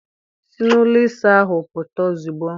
Si n'ụlọ ịsa ahụ pụta ozugbo!